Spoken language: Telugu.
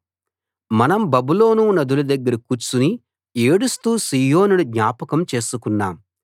మనం బబులోను నదుల దగ్గర కూర్చుని ఏడుస్తూ సీయోనును జ్ఞాపకం చేసుకున్నాం